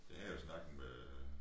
Jeg havde jo en snak med øh